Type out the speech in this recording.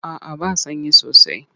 A'a ba sanyi sosai.